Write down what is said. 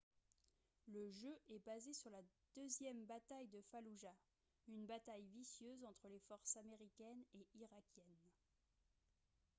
le jeu est basé sur la deuxième bataille de falloujah une bataille vicieuse entre les forces américaines et irakiennes